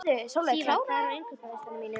Sívar, hvað er á innkaupalistanum mínum?